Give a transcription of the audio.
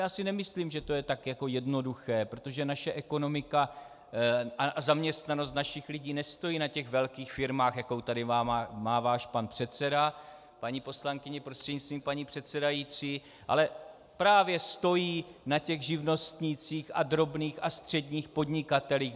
Já si nemyslím, že to je tak jako jednoduché, protože naše ekonomika a zaměstnanost našich lidí nestojí na těch velkých firmách, jakou tady má váš pan předseda, paní poslankyně prostřednictvím paní předsedající, ale právě stojí na těch živnostnících a drobných a středních podnikatelích.